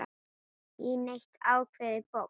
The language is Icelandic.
í neitt ákveðið box.